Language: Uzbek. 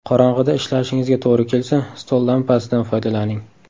Qorong‘ida ishlashingizga to‘g‘ri kelsa, stol lampasidan foydalaning.